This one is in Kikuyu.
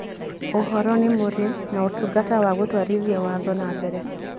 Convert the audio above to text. Ũhoro niĩmuri na ũtungata wa gũtwarithia watho na mbere